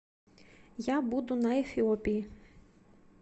я буду на эфиопии